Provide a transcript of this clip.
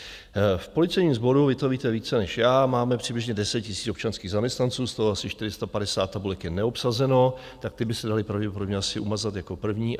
V policejním sboru, vy to víte více než já, máme přibližně 10 000 občanských zaměstnanců, z toho asi 450 tabulek je neobsazeno, tak ty by se daly pravděpodobně asi umazat jako první.